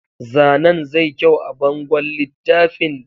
Zanen zai kyau a bangon littafin